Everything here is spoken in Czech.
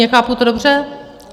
Chápu to dobře?